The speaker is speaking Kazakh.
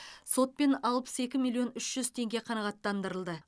сотпен алпыс екі миллион үш жүз теңге қанағаттандырылды